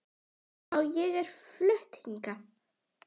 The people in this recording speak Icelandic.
Já, ég er flutt hingað.